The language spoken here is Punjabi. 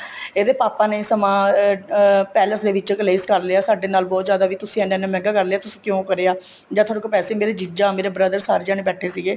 ਇਹਦੇ papa ਨੇ ਸਮਾਨ ਅਹ palace ਦੇ ਵਿੱਚ ਕਲੇਸ਼ ਕਰ ਲਿਆ ਸਾਡੇ ਨਾਲ ਬਹੁਤ ਜਿਆਦਾ ਵੀ ਤੁਸੀਂ ਐਨਾ ਐਨਾ ਮੰਹਿਗਾ ਕਰ ਲਿਆ ਤੁਸੀਂ ਕਿਉਂ ਕਰਿਆ ਜਦ ਤੁਹਾਡੇ ਕੋਲ ਪੈਸੇ ਨਹੀਂ ਮੇਰਾ ਜ਼ੀਜਾ ਮੇਰੇ brothers ਸਾਰੇ ਜਾਣੇ ਬੈਠੇ ਸੀਗੇ